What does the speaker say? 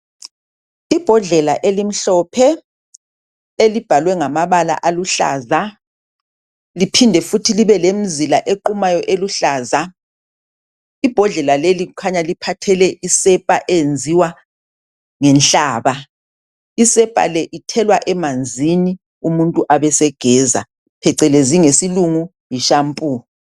Imbhondlela elimhlophe elibhalwe ngamabala aluhlaza liphinde futhi lemizila equmayo eluhlaza ibhondlela leli kukhanya liphathele isepa eyenziwa ngenhlaba isepa le ithelwa emanzini umuntu abe esegeza phecelezi ngesilungu yi shampoo